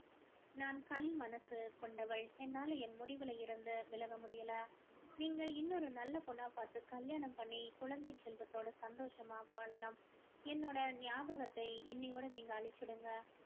நான் கல் மனசு கொண்டவள் என்னால என் முடிவுல இருந்து விலக முடியல நீங்க இன்னொரு நல்ல பொண்ணா பார்த்து கல்யாணம் பண்ணி குழந்தை செல்வத்தோட சந்தோஷமா வாழணும் என்னோட ஞாபகத்தை இன்னையோட நீங்க அழிச்சுடுங்க